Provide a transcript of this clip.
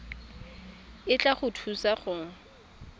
e tla go thusa go